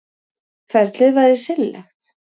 Ferlið væri seinlegt